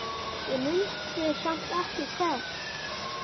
Ég mundi samt ekki hvert.